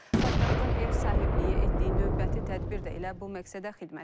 Paytaxtın ev sahibliyi etdiyi növbəti tədbir də elə bu məqsədə xidmət edir.